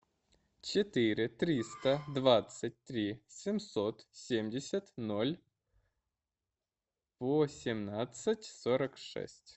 четыре триста двадцать три семьсот семьдесят ноль восемнадцать сорок шесть